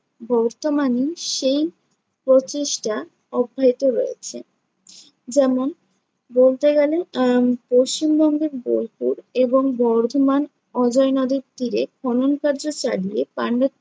বর্তমানে সেই প্রচেষ্টা অব্যাহত রয়েছে। যেমন বলতে গেলে আহ পশ্চিমবঙ্গের বোলপুর এবং বর্ধমান অজয় নদের তীরে খনন কার্য চালিয়ে পাণ্ড্যত্য